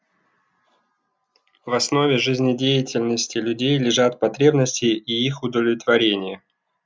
в основе жизнедеятельности людей лежат потребности и их удовлетворение